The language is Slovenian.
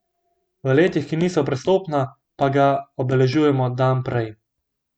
V letih, ki niso prestopna, pa ga obeležujemo dan prej.